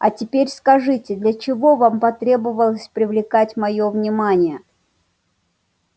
а теперь скажите для чего вам потребовалось привлекать моё внимание